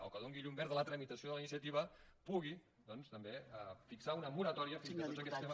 o que doni llum verda a la tramitació de la iniciativa pugui doncs també fixar una moratòria fins que tots aquests temes